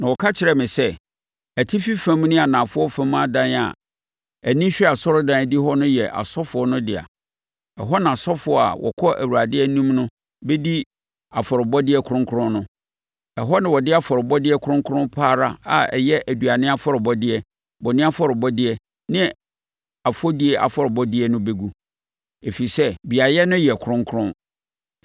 Na ɔka kyerɛɛ me sɛ, “Atifi fam ne anafoɔ fam adan a ani hwɛ asɔredan adihɔ no yɛ asɔfoɔ no dea. Ɛhɔ na asɔfoɔ a wɔkɔ Awurade anim no bɛdi afɔrebɔdeɛ kronkron no. Ɛhɔ na wɔde afɔrebɔdeɛ kronkron pa ara a ɛyɛ aduane afɔrebɔdeɛ, bɔne afɔrebɔdeɛ ne afɔdie afɔrebɔdeɛ no bɛgu, ɛfiri sɛ beaeɛ no yɛ kronkron.